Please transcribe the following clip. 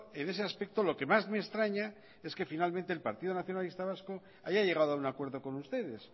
en ese aspecto lo que más me extraña es que finalmente el partido nacionalista vasco haya llegado a un acuerdo con ustedes